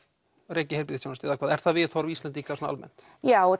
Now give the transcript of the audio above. reki heilbrigðisþjónustu eða hvað er það viðhorf Íslendinga almennt já ef